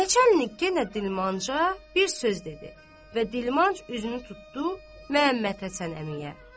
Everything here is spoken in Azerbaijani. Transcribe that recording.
Neçə əlik yenə dilmanca bir söz dedi və dilmanc üzünü tutdu Məhəmməd Həsən əmiyə.